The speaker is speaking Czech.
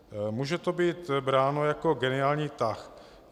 Může to být bráno jako geniální tah.